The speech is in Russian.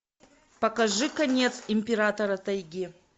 покажи конец императора тайги